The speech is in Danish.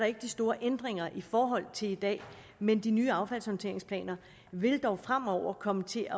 ikke de store ændringer i forhold til i dag men de nye affaldshåndteringsplaner vil dog fremover komme til